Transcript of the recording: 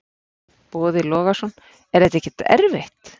Boði Logason: Er þetta ekkert erfitt?